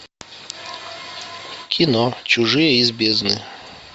кино чужие из бездны